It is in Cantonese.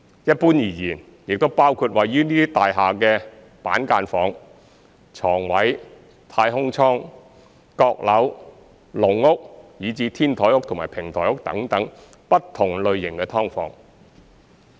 一般而言，亦包括位於這些大廈的板間房、床位、太空倉、閣樓、籠屋，以至"天台屋"和"平台屋"等不同類型的"劏房"。